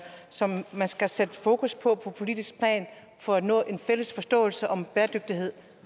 som man skal sætte fokus på på politisk plan for at nå en fælles forståelse om bæredygtighed